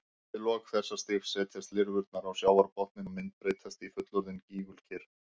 Við lok þessa stigs setjast lirfurnar á sjávarbotninn og myndbreytast í fullorðin ígulker.